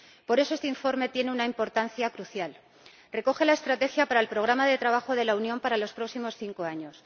Por eso, este informe tiene una importancia crucial recoge la estrategia para el programa de trabajo de la Unión para los próximos cinco años.